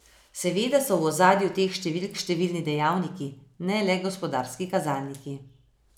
Seveda so v ozadju teh številk številni dejavniki, ne le gospodarski kazalniki.